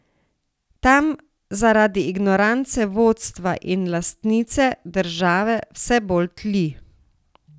Tam zaradi ignorance vodstva in lastnice, države, vse bolj tli.